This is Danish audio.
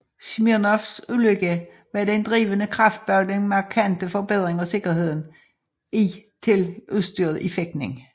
Smirnovs ulykke var den drivende kraft bag den markante forbedring af sikkerheden i til udstyret i fægtning